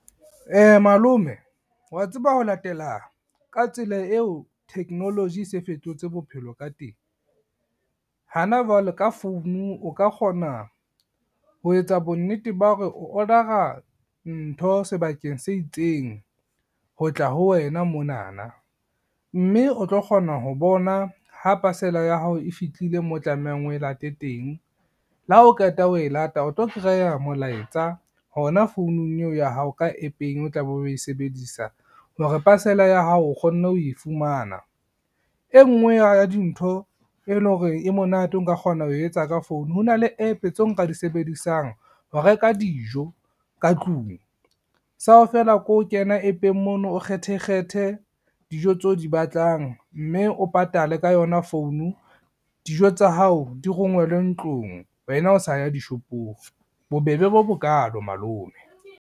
Malome wa tseba ho latela ka tsela eo technology se fetotse bophelo ka teng. Hana jwale ka founu o ka kgona ho etsa bonnete ba hore o order-a ntho sebakeng se itseng ho tla ho wena monana, mme o tlo kgona ho bona ho pasela ya hao e fitlile mo tlamehang o e late teng, le ha o qeta ho e lata o tlo molaetsa hona founung eo ya hao ka app-eng o tla be o e sebedisa hore pasela ya hao o kgonne ho e fumana. E ngwe ya dintho e lo hore e monate o nka kgona ho etsa ka founu, ho na le app tseo nka di sebedisang ho reka dijo ka tlung, sao feela ke ho kena app-eng mono, o kgethe kgethe dijo tseo o di batlang, mme o patale ka yona founu dijo tsa hao di rongwelwe ntlong wena o sa ya dishopong, bobebe bo bokalo malome.